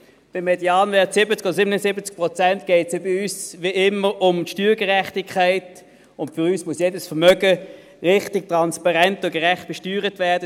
Beim Medianwert 70 oder 77 Prozent geht es uns ja wie immer um die Steuergerechtigkeit, und für uns muss jedes Vermögen richtig, transparent und gerecht besteuert werden.